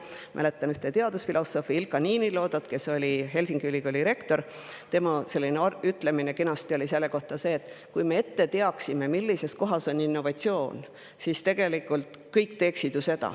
Mäletan teadusfilosoof Ilkka Niiniluoto – ta oli Helsingi Ülikooli rektor – kena ütlemist selle kohta: kui me teaksime ette, millises kohas on innovatsioon, siis kõik teeksid ju seda.